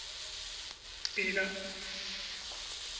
pina